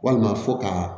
Walima fo ka